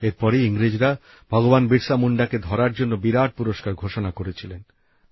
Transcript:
এর পরেই ইংরেজরা ভগবান বিরসা মুন্ডাকে ধরার জন্য বিরাট পুরস্কার ঘোষণা করেছিলেন